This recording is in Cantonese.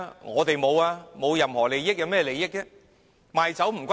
我們並無任何利益，有甚麼利益？